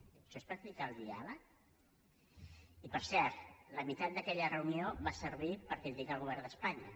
això és practicar el diàleg i per cert la meitat d’aquella reunió va servir per criticar el govern d’espanya